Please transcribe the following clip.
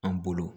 An bolo